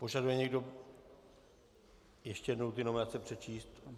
Požaduje někdo ještě jednou ty nominace přečíst?